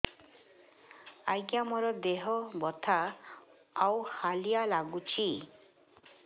ଆଜ୍ଞା ମୋର ଦେହ ବଥା ଆଉ ହାଲିଆ ଲାଗୁଚି